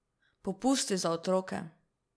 Popusti za otroke!